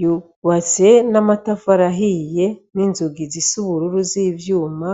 ,bwubatse n' amatafari ahiye n' inzugi zisa ubururu z' ivyuma ,